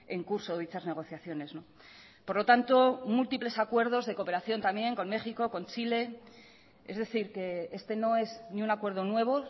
en curso dichas negociaciones por lo tanto múltiples acuerdos de cooperación también con méxico con chile es decir que este no es ni un acuerdo nuevo